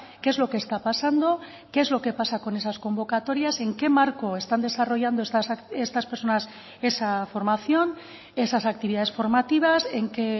qué es lo que está pasando qué es lo que pasa con esas convocatorias en qué marco están desarrollando estas personas esa formación esas actividades formativas en qué